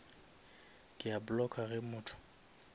ke a blocka ge motho